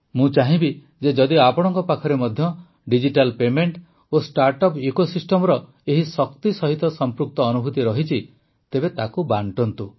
ମୁଁ ଚାହିଁବି ଯେ ଯଦି ଆପଣଙ୍କ ପାଖରେ ମଧ୍ୟ ଡିଜିଟାଲ୍ ପେମେଂଟ ଓ ଷ୍ଟାର୍ଟଅପ୍ ଇକୋସିଷ୍ଟମର ଏହି ଶକ୍ତି ସହିତ ସଂପୃକ୍ତ ଅନୁଭୂତି ରହିଛି ତେବେ ତାକୁ ବାଂଟନ୍ତୁ